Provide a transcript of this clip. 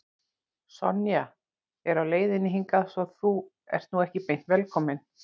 Sonja er á leiðinni hingað svo að þú ert nú ekki beint velkominn.